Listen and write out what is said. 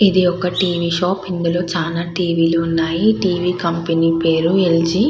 ఇది ఒక TV shop ఇందులో చాలా టివీ లు ఉన్నాయి. టీవీ కంపెనీ పేరు ల్ జి .